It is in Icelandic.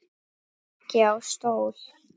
Ekki á stól.